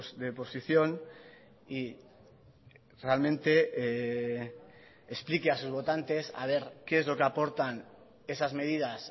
de posición y realmente explique a sus votantes a ver qué es lo que aportan esas medidas